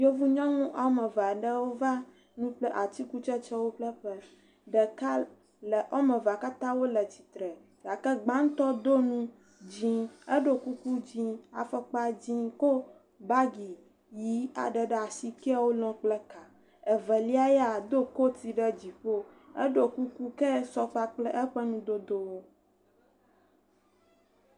yevu nyɔŋu wɔmeve'ɖewo va ŋuku kple atsikutsetsewo ƒle ƒe ɖeka le wɔmevea katã wóle tsitre gake gbaŋtɔ dó nu dzĩ eɖó kuku dzĩ afɔkpa dzĩ kó bagi yi aɖe ɖe asi keya wó lɔ̃ kple ka evelia ya edó koti ɖe dziƒo eɖó kuku keya sɔ kpakple eƒe ŋudodowo